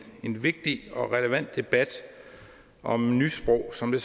vigtig og relevant debat om nysprog som det